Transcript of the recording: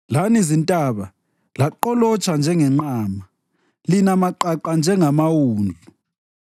Lani zintaba laqolotsha njengenqama, lina maqaqa njengamawundlu?